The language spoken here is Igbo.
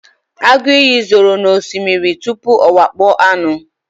agụ iyi zoro n'osimiri tupu ọ wakpo anụ